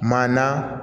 Maa na